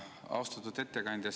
Austatud ettekandja!